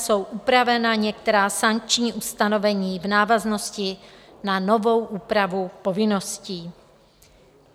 Jsou upravena některá sankční ustanovení v návaznosti na novou úpravu povinností.